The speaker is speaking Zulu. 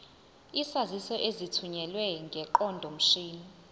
izaziso ezithunyelwe ngeqondomshini